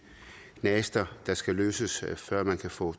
knaster der skal løses før man kan få